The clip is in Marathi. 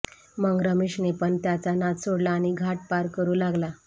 मग रमेशने पण त्याचा नाद सोडला आणि घाट पार करू लागला